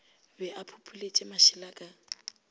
be a phopholetše mašela ka